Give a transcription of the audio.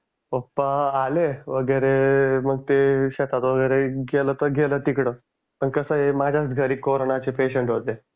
पप्पा आले वगैरे मग ते शेतात वगैरे गेलं तर गेलं तिकडं पण कसं आहे माझ्याच घरी कोरोंना चे पेशंट होते.